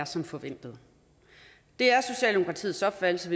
som forventet det er socialdemokratiets opfattelse